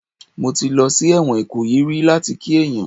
Mo ti lọ sí ẹ̀wọ̀n Ìkòyí rí láti kí èèyàn